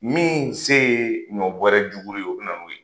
Min se ye ɲɔ bɔrɛ jugu ye o be na n'o ye.